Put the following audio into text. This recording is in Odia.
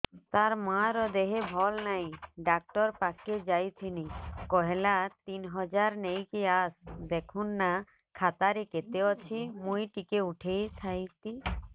ତାର ମାର ଦେହେ ଭଲ ନାଇଁ ଡାକ୍ତର ପଖକେ ଯାଈଥିନି କହିଲା ତିନ ହଜାର ନେଇକି ଆସ ଦେଖୁନ ନା ଖାତାରେ କେତେ ଅଛି ମୁଇଁ ଟିକେ ଉଠେଇ ଥାଇତି